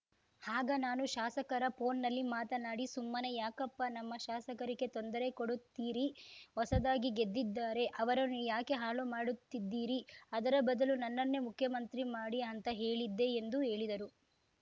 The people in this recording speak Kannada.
ಆಗ ನಾನು ಶಾಸಕರ ಫೋನ್‌ನಲ್ಲಿ ಮಾತನಾಡಿ ಸುಮ್ಮನೆ ಯಾಕಪ್ಪ ನಮ್ಮ ಶಾಸಕರಿಗೆ ತೊಂದರೆ ಕೊಡುತ್ತೀರಿ ಹೊಸದಾಗಿ ಗೆದ್ದಿದ್ದಾರೆ ಅವರನ್ನು ಯಾಕೆ ಹಾಳು ಮಾಡುತಿದ್ದಿರ ಅದರ ಬದಲು ನನ್ನನ್ನೇ ಮುಖ್ಯಮಂತ್ರಿ ಮಾಡಿ ಅಂತ ಹೇಳಿದ್ದೆ ಎಂದು ಹೇಳಿದರು